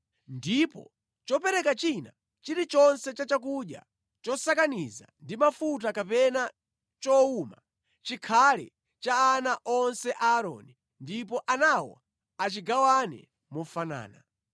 Ndipo chopereka china chilichonse cha chakudya chosakaniza ndi mafuta kapena chowuma, chikhale cha ana onse a Aaroni ndipo anawo achigawane mofanana.